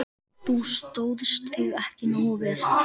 Þú stóðst þig ekki nógu vel.